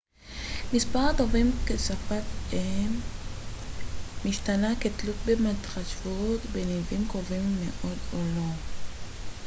מספר הדוברים כשפת אם משתנה כתלות בהתחשבות בניבים קרובים מאוד או לא